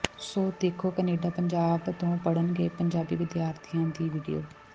ਸੋ ਦੇਖੋ ਕਨੇਡਾ ਪੰਜਾਬ ਤੋਂ ਪੜਨ ਗਏ ਪੰਜਾਬੀ ਵਿਦਿਆਰਥੀਆਂ ਦੀ ਵੀਡੀਓ